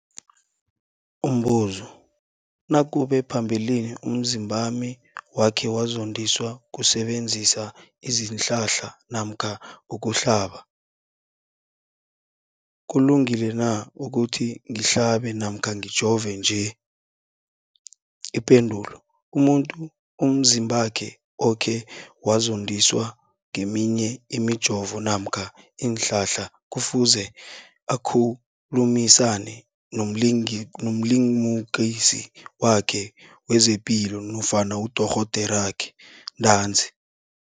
Umbuzo, nakube phambilini umzimbami wakhe wazondiswa kusebenzisa isihlahla namkha ukuhlaba, kulungile na ukuthi ngihlabe namkha ngijove nje? Ipendulo, umuntu umzimbakhe okhe wazondiswa ngeminye imijovo namkha iinhlahla kufuze akhulumisane nomlimukisi wakhe wezepilo nofana nodorhoderakhe ntanzi.